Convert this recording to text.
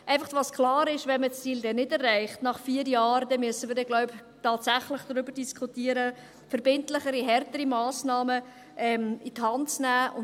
Was einfach klar ist: Wenn man das Ziel dann nach vier Jahren nicht erreicht hat, dann müssen wir, glaube ich, tatsächlich darüber diskutieren, verbindlichere, härtere Massnahmen an die Hand zu nehmen.